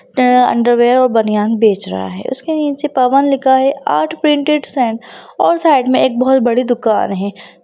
Underwear और बानियाँन बेच रहा है उसके नीचे पवन लिखा हुआ है आर्ट्स पैनटेड एंड और साइड मे एक बहोत बड़ी दुकान है।